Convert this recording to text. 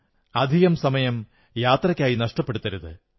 സമയം അധികം യാത്രയ്ക്കായി നഷ്ടപ്പെടുത്തരുത്